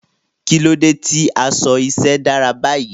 Kí ló dé tí aṣọ iṣẹ́ dára báyìí?